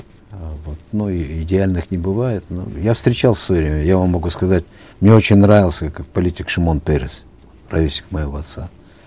э вот ну и идеальных не бывает но я встречал в свое время я вам могу сказать мне очень нравился как политик шимон перес ровесник моего отца